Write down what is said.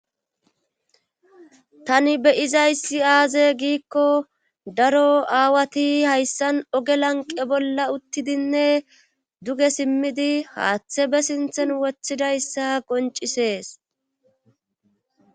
Tani be izaysi aaze giikko daro aawati hayssan oge lanqe bolla uttidinne duge simmidi haaththe be sinthen wothidayssa qoncisees